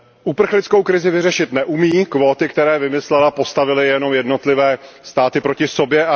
Uprchlickou krizi vyřešit neumí, kvóty, které vymyslela, postavily jenom jednotlivé státy proti sobě.